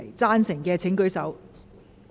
贊成的請舉手。